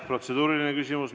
Protseduuriline küsimus.